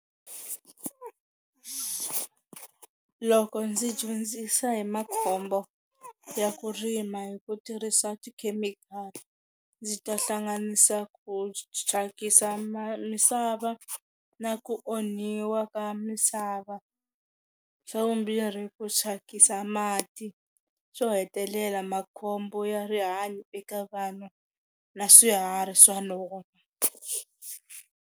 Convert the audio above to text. Loko ndzi dyondzisa hi makhombo ya ku rima hi ku tirhisa tikhemikhali ndzi ta hlanganisa ku thyakisa ma misava na ku onhiwa ka misava, xa vumbirhi ku thyakisa mati, xo hetelela makhombo ya rihanyo eka vana na swiharhi swa lova.